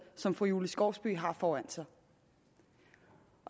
som fru julie skovsby har foran sig